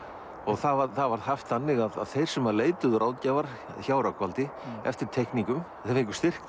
það var haft þannig að þeir sem leituðu ráðgjafar hjá Rögnvaldi eftir teikningum þeir fengu styrk